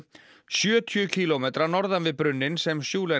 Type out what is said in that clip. sjötíu kílómetra norðan við brunninn sem